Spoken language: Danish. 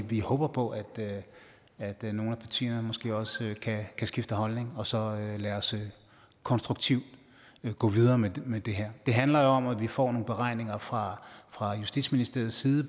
vi håber på at at nogle af partierne måske også kan skifte holdning og så lad os konstruktivt gå videre med med det her det handler jo om at vi får nogle beregninger fra fra justitsministeriets side